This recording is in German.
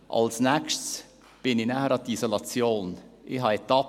Als Nächstes nahm ich mir die Isolation vor.